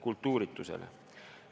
Kultuuritusele.